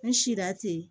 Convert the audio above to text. N si la ten